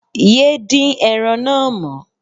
Yé dín ẹran náà mọ́